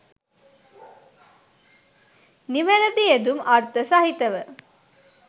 නිවැරැදි යෙදුම් අර්ථ සහිතව